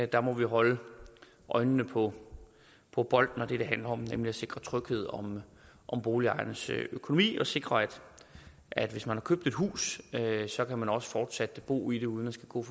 der må vi holde øjnene på på bolden og det det handler om nemlig at sikre tryghed om boligejernes økonomi og sikre at hvis man har købt et hus så kan man også fortsat bo i det uden at skulle